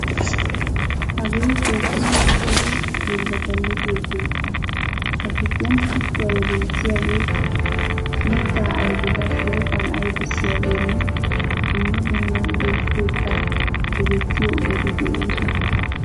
Hagee gooshshaa kushshee hiilata luxxiyo keettaa. A giddon kuttuwa yelettisiyoge, miitta ayfetta shooqan ayfisiyogene dumma dumma hiiyesatetta yedettiyo ogetti deosona,